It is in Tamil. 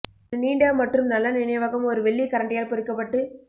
ஒரு நீண்ட மற்றும் நல்ல நினைவகம் ஒரு வெள்ளி கரண்டியால் பொறிக்கப்பட்டு